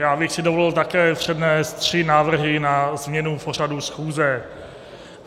Já bych si dovolil také přednést tři návrhy na změnu pořadu schůze.